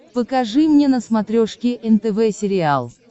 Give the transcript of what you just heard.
покажи мне на смотрешке нтв сериал